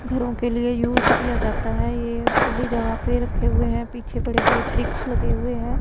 घरों के लिए यूज किया जाता है ये खुली जगह पे रखे हुए है। पीछे बड़े बड़े वृक्ष लगे हुए हैं।